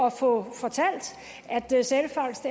at få fortalt at sælfangst